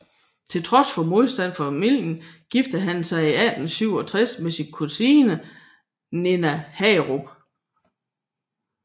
Til trods for modstand fra familierne giftede han sig i 1867 med sin kusine Nina Hagerup